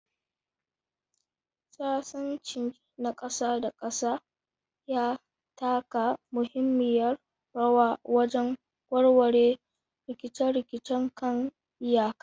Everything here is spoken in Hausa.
Sasanci na ƙasa da ƙasa ya taka muhimmiyar rawa wajen warware rikice-rikicen kan iyaka.